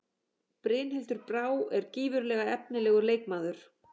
Brynhildur Brá er gífurlega efnilegur leikmaður.